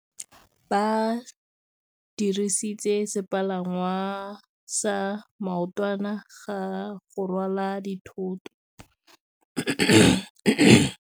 Ba dirisitse sepalangwasa maotwana go rwala dithôtô.